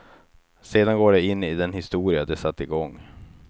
Sedan går de in i den historia de satt i gång.